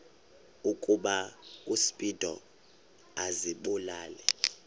ukuba uspido azibulale